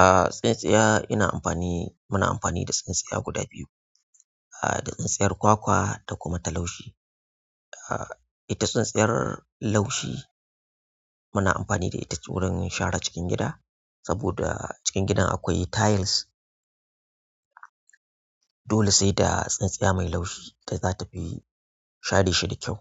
Ah tsintsiya ina amfani, muna amfani da tsintsiya guda biyu. Ah da tsintsiyar kwakwa da kuma ta laushi. Ah ita tsintsiyar laushi muna amfani da ita wurin share cikin gida, saboda cikin gidan akwai tayils. Dole seda tsintsiya mai laushi da zatafi share shi da kyau